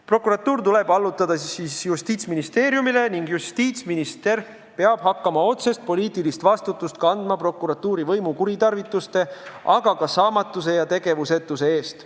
Prokuratuur tuleb allutada Justiitsministeeriumile ning justiitsminister peab hakkama kandma otsest poliitilist vastutust prokuratuuri võimu kuritarvituste, aga ka saamatuse ja tegevusetuse eest.